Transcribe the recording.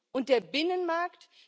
Und der Binnenmarkt?